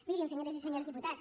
mirin senyores i senyors diputats